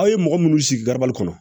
Aw ye mɔgɔ minnu sigi kɔnɔ